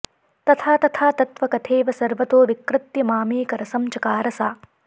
तथा तथा तत्त्वकथेव सर्वतो विकृत्य मामेकरसं चकार सा